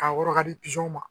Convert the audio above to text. K'a wɔrɔ k'a di ma